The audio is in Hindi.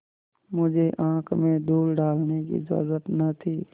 मुझे आँख में धूल डालने की जरुरत न थी